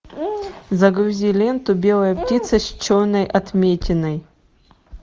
загрузи ленту белая птица с черной отметиной